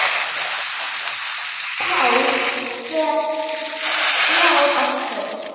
Páll fer frá okkur.